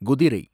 குதிரை